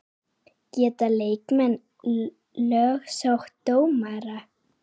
Geta leikmenn lögsótt dómara?